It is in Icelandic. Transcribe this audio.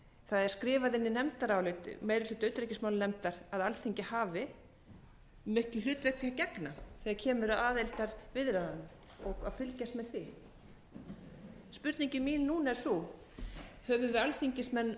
það er skrifað í nefndarálit meiri hluta utanríkismálanefndar að alþingi hafi miklu hlutverki að gegna þegar kemur að aðildarviðræðunum og að fylgjast með því spurning mín núna er sú höfum við alþingismenn verið